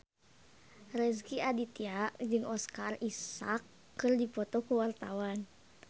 Rezky Aditya jeung Oscar Isaac keur dipoto ku wartawan